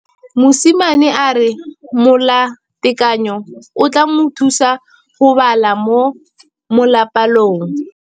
Mosimane a re molatekanyô o tla mo thusa go bala mo molapalong.